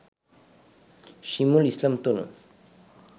শিমুল Islam তনু